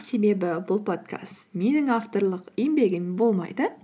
себебі бұл подкаст менің авторлық еңбегім болмайды